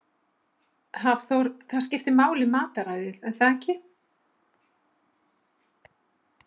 Hafþór: Það skiptir máli matarræðið er það ekki?